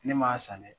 Ne m'a san dɛ